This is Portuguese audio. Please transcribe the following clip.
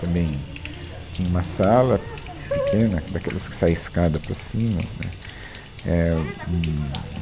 Também tinha uma sala pequena, daquelas que saem a escada para cima, né, É um